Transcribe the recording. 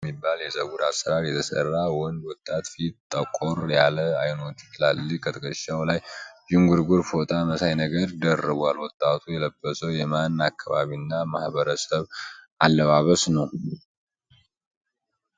ፀጉሩን በድሬድ በሚባል የፀጉር አሰራር የተሰራ ወንድ ወጣት ፊቱ ጠቆር ያለ አይኖቹ ትላልቅ ከትክሻዉ ላይ ዥንጉርጉር ፎጣ መሳይ ነገር ደርቧል። ወጣቱ የለበሰዉ የማን አካባቢና ማህበረሰብ አለባበስ ነዉ?